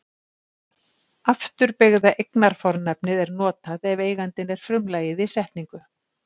Afturbeygða eignarfornafnið er notað ef eigandinn er frumlagið í setningu.